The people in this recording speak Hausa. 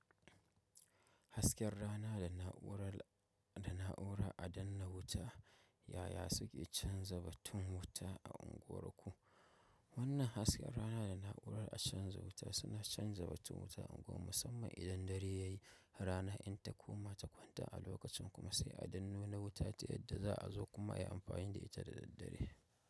Hasken rana da na’ura a danne wuta ya ya suke canza batun wuta a unguwarku? Wannan hasken rana da na'urar a canza wuta suna canza batun wuta a unguwar musamman idan dare ya yi. Rana in ta koma ta kwanta a lokacin kuma sai a danna wuta ta yadda za a zo kuma yi amfani da ita da daddare.